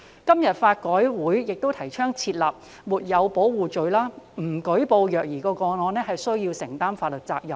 香港法律改革委員會今天也提倡訂立"沒有保護罪"，令不舉報虐兒個案須承擔法律責任。